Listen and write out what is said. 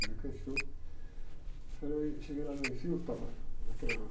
falei, cheguei lá no, que estava